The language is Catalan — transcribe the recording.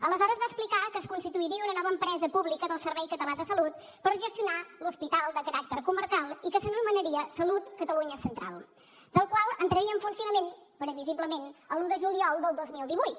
aleshores va explicar que es constituiria una nova empresa pública del servei català de la salut per gestionar l’hospital de caràcter comarcal i que s’anomenaria salut catalunya central el qual entraria en funcionament previsiblement l’un de juliol del dos mil divuit